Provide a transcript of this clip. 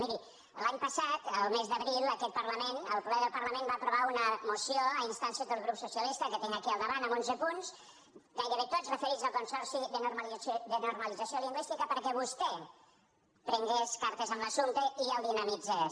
miri l’any passat el mes d’abril aquest parlament el ple del parlament va aprovar una moció a instàncies del grup socialista que tinc aquí al davant amb onze punts gairebé tots referits al consorci de normalització lingüística perquè vostè prengués cartes en l’assumpte i el dinamitzés